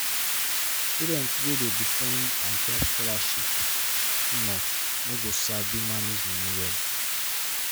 student wey dey depend ontop scholarship too much no go sabi manage money well.